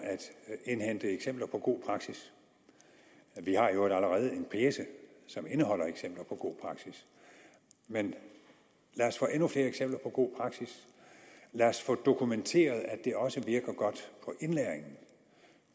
at indhente eksempler på god praksis vi har i øvrigt allerede en pjece som indeholder eksempler på god praksis men lad os få endnu flere eksempler på god praksis lad os få dokumenteret at det også virker godt på indlæringen